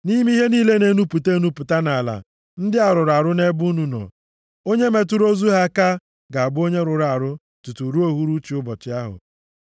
Nʼime ihe niile na-enupụta enupụta nʼala ndị a rụrụ arụ nʼebe unu nọ. Onye metụrụ ozu ha aka ga-abụ onye rụrụ arụ tutu ruo uhuruchi ụbọchị ahụ.